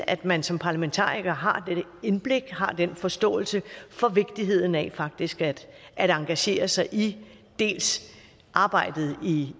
at man som parlamentariker har det indblik har den forståelse for vigtigheden af faktisk at engagere sig i arbejdet